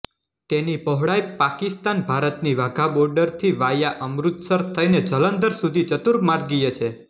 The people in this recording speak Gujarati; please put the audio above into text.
તેની પહોળાઇ પાકિસ્તાનભારતની વાઘા બોર્ડરથી વાયા અમૃતસર થઇને જલંધર સુધી ચતુર્માગીય છે